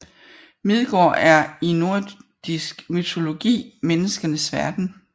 Midgård er i nordisk mytologi menneskenes verden